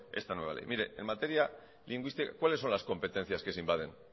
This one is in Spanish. esta nueva ley en materia lingüística cuáles son las competencias que se invaden